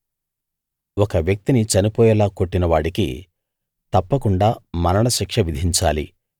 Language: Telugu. ఒక వ్యక్తిని చనిపోయేలా కొట్టిన వాడికి తప్పకుండా మరణశిక్ష విధించాలి